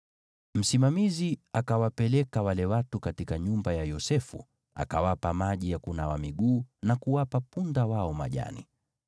Msimamizi akawapeleka wale watu katika nyumba ya Yosefu, akawapa maji ya kunawa miguu na kuwapa punda wao majani.